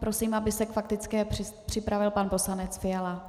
Prosím, aby se k faktické připravil pan poslanec Fiala.